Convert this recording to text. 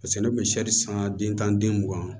Paseke ne kun bɛ san den tan ni den mugan